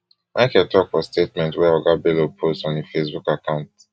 michael tok for statement wey oga bello post on im facebook account